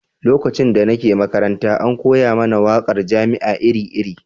Lokacin da nake makaranta, an koya mana waƙar jama'a iri-iri.